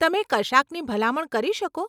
તમે કશાકની ભલામણ કરી શકો?